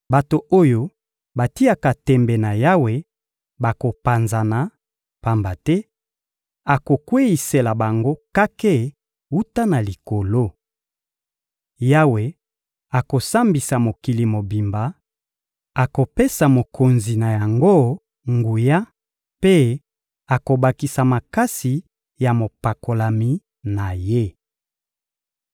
Bato oyo batiaka tembe na Yawe bakopanzana, pamba te akokweyisela bango kake wuta na likolo. Yawe akosambisa mokili mobimba, akopesa mokonzi na yango nguya mpe akobakisa makasi ya mopakolami na Ye.